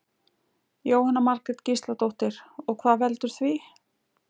Jóhanna Margrét Gísladóttir: Og hvað veldur því?